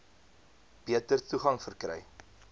beter toegang verkry